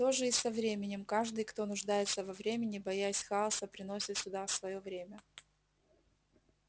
то же и со временем каждый кто нуждается во времени боясь хаоса приносит сюда своё время